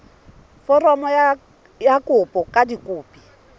foromo ya kopo ka dikopi